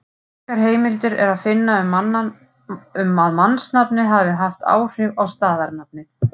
Engar heimildir er að finna um að mannsnafnið hafi haft áhrif á staðarnafnið.